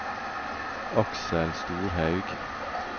Aksel Storhaug